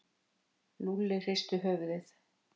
Lúlli hristi höfuðið.